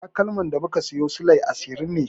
Takalmin da muka siyo silai ashirin ne.